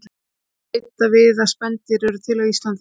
Því má bæta við að spendýrin urðu til á landi.